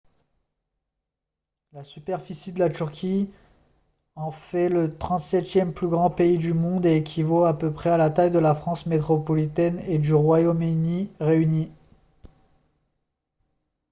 la superficie de la turquie en fait le 37e plus grand pays du monde et équivaut à peu près à la taille de la france métropolitaine et du royaume-uni réunis